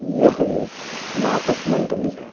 यह एक नाटक मंडली है।